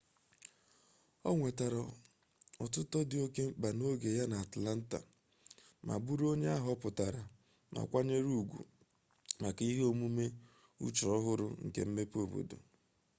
o nwetara otuto dị oke mkpa n'oge ya n'atlanta ma bụrụ onye a họpụtara ma kwanyere ugwu maka ihe ọmụmụ uche-ọhụrụ nke mmepe obodo